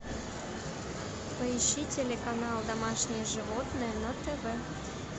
поищи телеканал домашние животные на тв